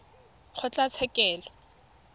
kgotlatshekelo